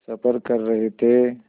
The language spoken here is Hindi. सफ़र कर रहे थे